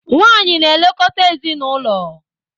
Nwanyị na-elekọta ezinaụlọ.